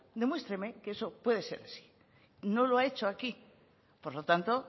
demuéstreme que eso puede ser así no lo ha hecho aquí por lo tanto